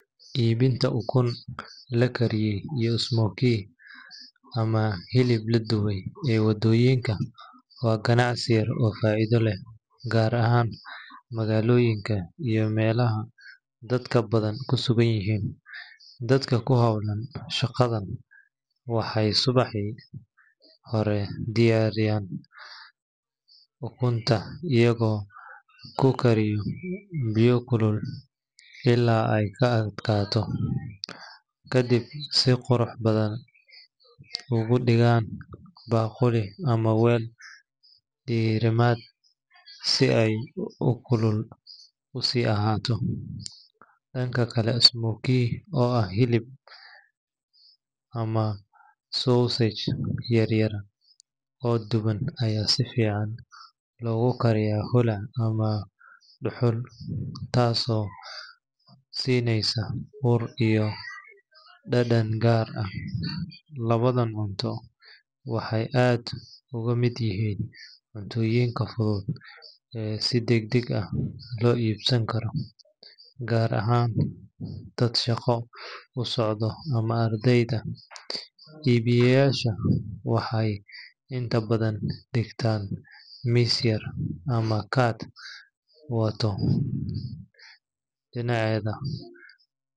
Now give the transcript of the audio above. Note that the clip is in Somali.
Iibinta ukun la kariyey iyo smoky ama hilib la dubay ee waddooyinka waa ganacsi yar oo faa’iido leh, gaar ahaan magaalooyinka iyo meelaha dadka badan ku sugan yihiin. Dadka ku hawlan shaqadan waxay subaxdii hore diyaarshaan ukunta iyagoo ku kariya biyo kulul ilaa ay ka adkaato, ka dibna si qurux badan ugu dhigaan baaquli ama weel diirimaad si ay kulul u sii ahaato. Dhanka kale, smoky oo ah hilib ama sausage yar yar oo duban ayaa si fiican loogu kariyaa holac ama dhuxul, taasoo siinaysa ur iyo dhadhan gaar ah. Labadan cunto waxay aad uga mid yihiin cuntooyinka fudud ee si degdeg ah loo iibsan karo, gaar ahaan dad shaqo u socda ama ardayda. Iibiyeyaashu waxay inta badan dhigtaan miis yar ama cart waddo dhinaceeda.